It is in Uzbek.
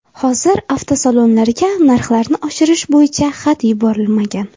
Hozir avtosalonlarga narxlarni oshirish bo‘yicha xat yuborilmagan.